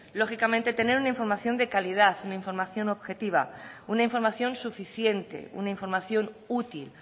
lógicamente tener una información de calidad una información objetivo una información suficiente una información útil